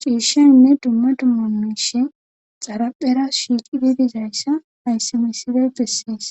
ciishaynne dumma dumma miishay xaraphera shiiqidi dizayssa hayssi misiley bessees.